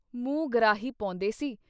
ਮੁੰਹ ਗਰਾਹੀ ਪੌਂਦੇ ਸੀ।